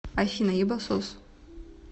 афина ебасос